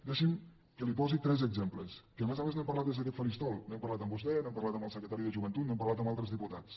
deixi’m que li’n posi tres exemples que a més a més n’hem parlat des d’aquest faristol n’hem parlat amb vostè n’hem parlat amb el secretari de joventut n’hem parlat amb altres diputats